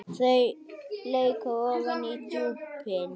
Þau leka ofan í djúpin.